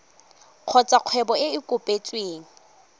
kgotsa kgwebo e e kopetsweng